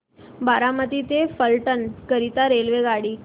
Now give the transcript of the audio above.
बारामती ते फलटण करीता रेल्वेगाडी